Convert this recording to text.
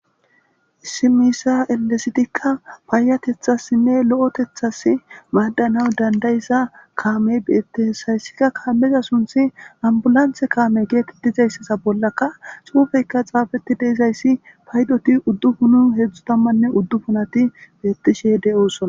issi miisa elesitikka paayatethassinne lo7etethasi maadanaw danda'iza kaamey beetti hesayssikka kaameza sunthi ambulanthe kaame geetet dizayssesa bollaka xuufeyka xaafeti deizayssi paydoti uddupunu heedzdzu tammanne uddu punati beettishe de'oosona